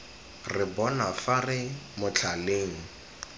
re bona fa re motlhaleng